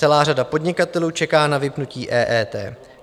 Celá řada podnikatelů čeká na vypnutí EET.